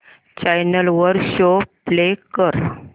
channel वर show play कर